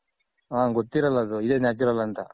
ಹ ಗೊತ್ತಿರಲ್ಲ ಅದು ಇದೆ Natural ಅಂತ.